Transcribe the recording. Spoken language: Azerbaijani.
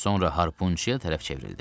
Sonra harpunçuya tərəf çevrildi.